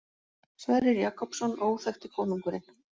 Sverrir Jakobsson, Óþekkti konungurinn.